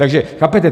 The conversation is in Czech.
Takže chápete?